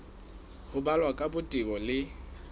ho balwa ka botebo le